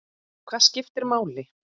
Hvað skiptir máli?